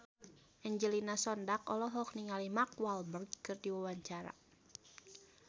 Angelina Sondakh olohok ningali Mark Walberg keur diwawancara